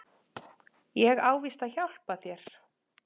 Ég á víst að hjálpa þér.